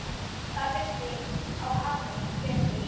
Það vissi á harðan vetur.